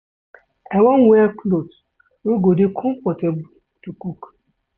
I wan wear cloth wey go dey comfortable to cook.